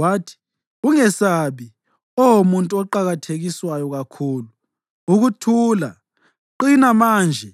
Wathi, “Ungesabi, Oh muntu oqakathekiswayo kakhulu. Ukuthula! Qina manje;